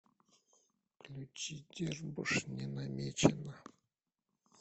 включи дербуш не намечено